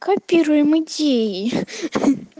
копируем идеи